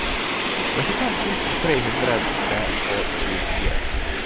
trettifem tusen tre hundre og tjuefire